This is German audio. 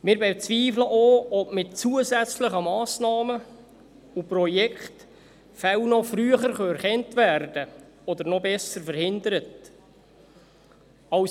Wir bezweifeln auch, ob mit zusätzlichen Massnahmen und Projekten Fälle noch früher erkannt oder – noch besser – verhindert werden können.